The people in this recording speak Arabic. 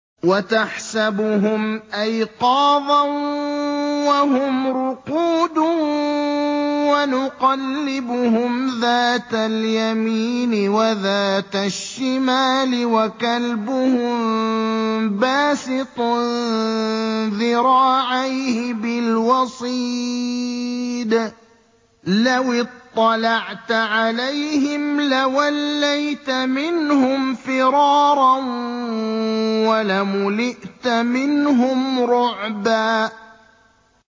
وَتَحْسَبُهُمْ أَيْقَاظًا وَهُمْ رُقُودٌ ۚ وَنُقَلِّبُهُمْ ذَاتَ الْيَمِينِ وَذَاتَ الشِّمَالِ ۖ وَكَلْبُهُم بَاسِطٌ ذِرَاعَيْهِ بِالْوَصِيدِ ۚ لَوِ اطَّلَعْتَ عَلَيْهِمْ لَوَلَّيْتَ مِنْهُمْ فِرَارًا وَلَمُلِئْتَ مِنْهُمْ رُعْبًا